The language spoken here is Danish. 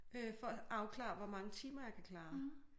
Øh for at afklare hvor mange timer jeg kan klare